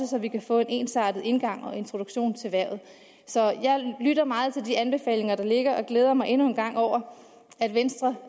så vi kan få en ensartet indgang og introduktion til hvervet så jeg lytter meget til de anbefalinger der ligger og glæder mig endnu en gang over at venstre